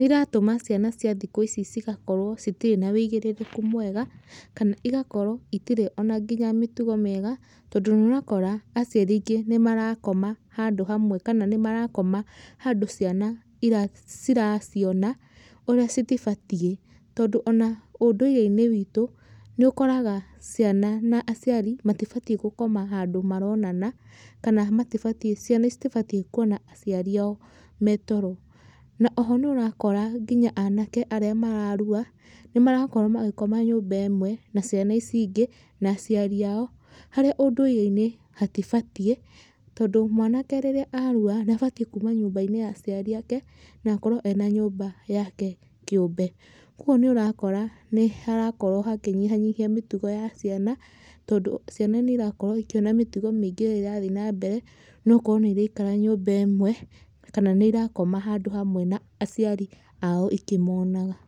Nĩiratũma ciana cia thikũ ici cigakorwo citirĩ na ũigĩrĩrĩku mwega kana igakorwo itirĩ ona nginya mĩtugo mĩega tondũ nĩũrakora aciari aingĩ nĩmarakoma handũ hamwe kana nĩmarakoma handũ ciana ciraciona ũrĩa citibatie, tondũ ona ũndũreinĩ witũ nĩũkoraga ciana kana aciari matibatie gũkoma handũ maronana kana ciana citibatie kwona aciari ao metoro na oho nĩũrakora nginya anake arĩa mararua nĩmarakorwo magĩkoma nyũmba ĩmwe na ciana ici ingĩ na aciari ao harĩa ũndũreinĩ hatibatiĩ, tondũ mwanake rĩrĩa arua nĩabatie kuuma nyumba ya aciari ake na akorwo ena nyũmba yake kĩũmbe. Kwoguo nĩũrakora nĩharakorwo hakĩnyihanyiha mĩtugo ya ciana tondũ ciana nĩirakorwo ĩkĩona mĩtugo mĩingĩ ĩrathii na mbere na ũkoro nĩirekara nyũmba ĩmwe kana nĩirakoma handũ hamwe na aciari ao ĩkĩmonaga.